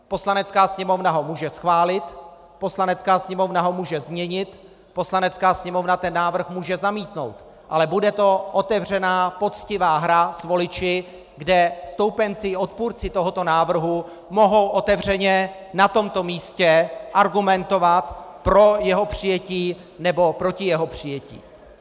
Poslanecká sněmovna ho může schválit, Poslanecká sněmovna ho může změnit, Poslanecká sněmovna ten návrh může zamítnout, ale bude to otevřená, poctivá hra s voliči, kde stoupenci i odpůrci tohoto návrhu mohou otevřeně na tomto místě argumentovat pro jeho přijetí, nebo proti jeho přijetí.